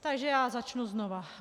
Takže já začnu znovu.